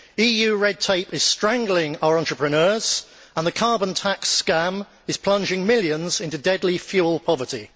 EU red tape is strangling our entrepreneurs and the carbon tax scam is plunging millions into deadly fuel poverty.